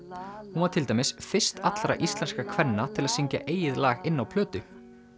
hún var til dæmis fyrst allra íslenskra kvenna til að syngja eigið lag inn á plötu